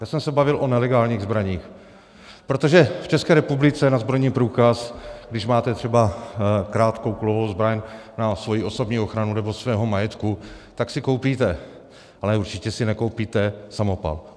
Já jsem se bavil o nelegálních zbraních, protože v České republice na zbrojní průkaz, když máte třeba krátkou kulovou zbraň na svoji osobní ochranu nebo svého majetku, tak si koupíte, ale určitě si nekoupíte samopal.